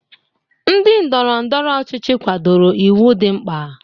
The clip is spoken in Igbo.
Ndị ndọrọ ndọrọ ọchịchị kwadoro iwu dị mkpa.